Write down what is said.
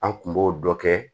An kun b'o dɔ kɛ